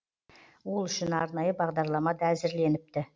ол үшін арнайы бағдарлама да әзірленіпті